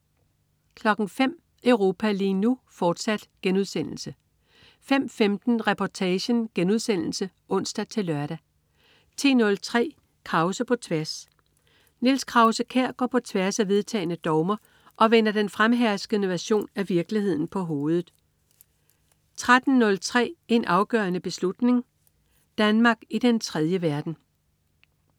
05.00 Europa lige nu, fortsat* 05.15 Reportagen* (ons-lør) 10.03 Krause på tværs. Niels Krause-Kjær går på tværs af vedtagne dogmer og vender den fremherskende version af virkeligheden på hovedet 13.03 En afgørende beslutning. Danmark i den tredje verden